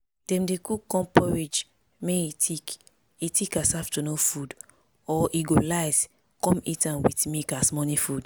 dem dey cook corn porridge may e thick e thick as afternoon food or e go light con eat am with milk as morning food